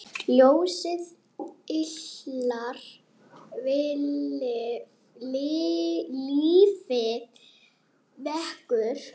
Ljósið yljar lífið vekur.